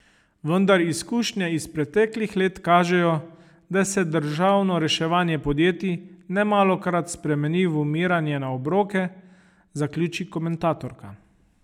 Vendar izkušnje iz preteklih let kažejo, da se državno reševanje podjetij nemalokrat spremeni v umiranje na obroke, zaključi komentatorka.